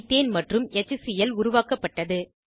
ethane மற்றும் HCl உருவாக்கப்பட்டது